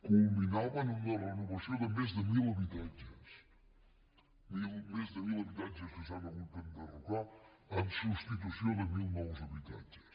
culminaven una renovació de més de mil habitatges més de mil habitatges que s’han hagut d’enderrocar en substitució de mil nous habitatges